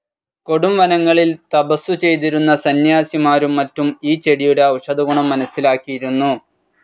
കൊടുംവനങ്ങളിൽ തപസു ചെയ്തിരുന്ന സന്ന്യാസിമാരും മറ്റും ഈ ചെടിയുടെ ഔഷധഗുണം മനസ്സിലാക്കിയിരുന്നു.